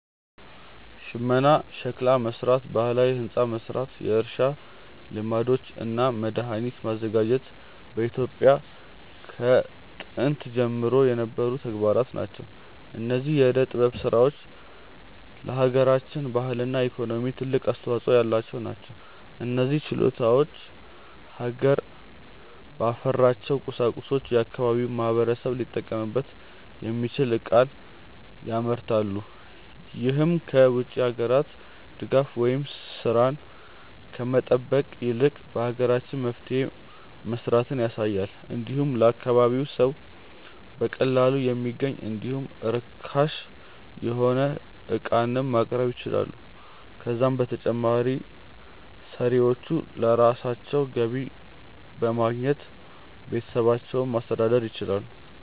ሽመና፣ ሸክላ መስራት፣ ባህላዊ ህንፃ መስራት፣ የእርሻ ልማዶች እና መድሃኒት ማዘጋጀት በኢትዮጵያ ከጥንት ዘመን ጀምሮ የነበሩ ተግባራት ናቸው። እነዚህ የዕደ ጥበብ ስራዎች ለሃገራችን ባህልና ኢኮኖሚ ትልቅ አስተዋጾ ያላቸው ናቸው። እነዚህ ችሎታዎች ሀገር ባፈራቸው ቁሳቁሶች የአካባቢው ማህበረሰብ ሊጠቀምበት የሚችል ዕቃን ያመርታሉ። ይህም ከ ውጭ ሀገራት ድጋፍን ወይም ስራን ከመጠበቅ ይልቅ በሀገራችን መፍትሄ መስራትን ያሳያል። እንዲሁም ለአካባቢው ሰው በቀላሉ የሚገኝ እንዲሁም ርካሽ የሆነ ዕቃንም ማቅረብ ይችላሉ። ከዛም በተጨማሪ ሰሪዎቹ ለራሳቸው ገቢ በማግኘት ቤተሰባቸውን ማስተዳደር ይችላሉ።